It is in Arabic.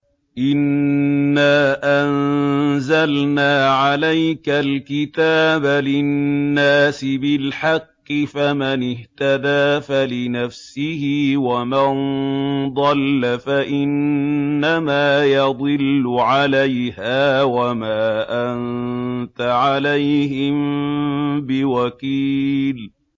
إِنَّا أَنزَلْنَا عَلَيْكَ الْكِتَابَ لِلنَّاسِ بِالْحَقِّ ۖ فَمَنِ اهْتَدَىٰ فَلِنَفْسِهِ ۖ وَمَن ضَلَّ فَإِنَّمَا يَضِلُّ عَلَيْهَا ۖ وَمَا أَنتَ عَلَيْهِم بِوَكِيلٍ